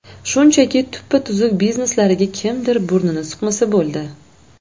Shunchaki tuppa-tuzuk bizneslariga kimdir burnini suqmasa bo‘ldi.